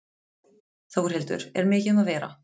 Þórhildur, er mikið um að vera?